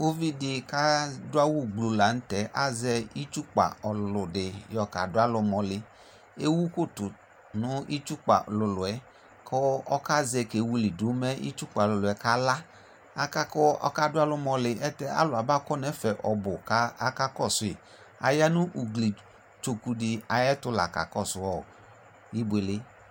Ʋvidi kʋ adʋ awʋ gbluu lanʋ tɛ kʋ azɛ itsʋkpa ɔlʋlʋ di yakadʋ alʋ ʋlɔli ewʋ kotu kʋ itsʋkpa ɔlʋlʋ yɛ kʋ ɔkazɛ kewilidʋ mɛ ikmtsukpa ɔlʋlʋ yɛ kala akakʋ akadʋ alʋ ʋmɔli ayɛlutɛ alʋ abakɔ nʋ ɛfɛ ɔbʋ kʋ akakɔsʋi ayanʋ ʋgli tsokʋdi ayʋ ɛtʋ la kakɔsʋ ibuele